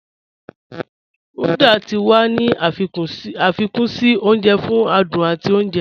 Uda tí wà ní afikún sí ọ̀nje fún àdùn àti ọ̀nje